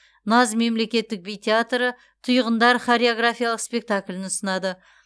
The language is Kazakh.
наз мемлекеттік би театры тұйғындар хореографиялық спектаклін ұсынады